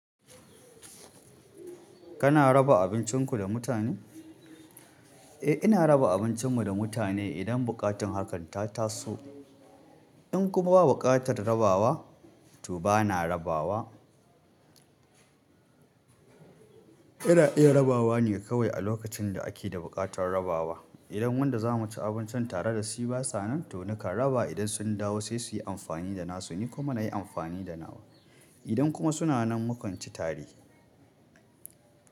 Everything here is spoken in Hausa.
Kana raba abincinku da mutane? Eh, ina raba abincin mu da mutane idan buƙatar hakan ta taso. In kuma babu buƙatar rabawa, to ba na rabawa. Ina iya rabawa ne kawai a lokacin da ake da buƙatar rabawa. Idan wanda za mu ci abincin tare da shi ba sa nan, to nakan raba idan sun dawo sai su yi amfani da nasu, ni kuma na yi amfani da nawa. Idan kuma suna nan, mu kan ci tare.